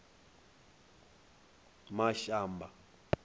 mashamba